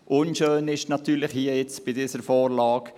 Unschön ist natürlich jetzt bei dieser Vorlage: